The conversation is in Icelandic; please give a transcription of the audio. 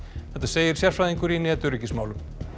þetta segir sérfræðingur í netöryggismálum